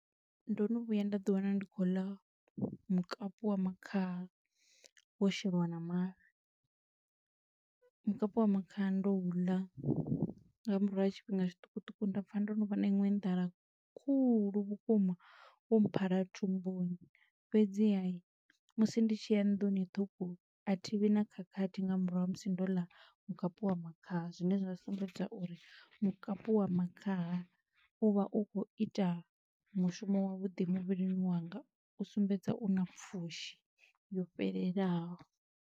Ndo no vhuya nda ḓi wana ndi khou ḽa mukapu wa makhaha, wo sheliwa na mafhi. Mukapu wa makhaha ndo u ḽa nga murahu ha tshifhinga tshiṱukuṱuku nda pfa ndo no vha na iṅwe nḓala khulu vhukuma, wo phala thumbuni, fhedziha musi ndi tshi ya nḓuni ṱhukhu, a thivhi na khakhathi nga murahu ha musi ndo ḽa mukapu wa makhaha, zwine zwa sumbedza uri mukapu wa makhaha u vha u khou ita mushumo wavhuḓi muvhilini wanga u sumbedza u na pfushi yo fhelelaho.